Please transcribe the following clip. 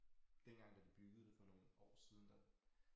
Dengang da de byggede det for nogle år siden der